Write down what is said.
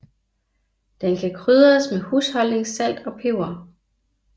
Den kan krydres med husholdningssalt og peber